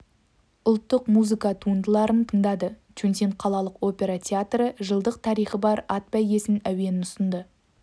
ұлттық музыка туындыларын тыңдады чунсин қалалық опера театры жылдық тарихы бар ат бәйгесі әуенін ұсынды